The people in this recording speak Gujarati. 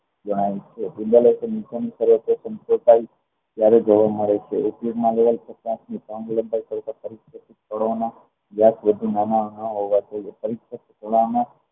ત્યારે જોવા મળે છે